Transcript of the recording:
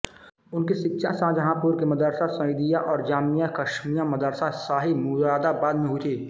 उनकी शिक्षा शाहजहांपुर के मदरसा सईदिया और जामिया क़स्मिया मदरसा शाही मुरादाबाद में हुई थी